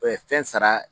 fɛn sara